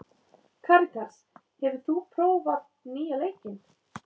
Karitas, hefur þú prófað nýja leikinn?